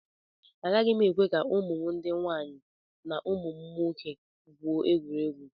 Agaghị m ekwe ka ụmụ m ndị nwaanyị na ụmụ nwoke gwuo egwuregwu